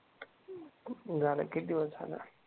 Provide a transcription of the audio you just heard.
झालं किती दिवस झालं?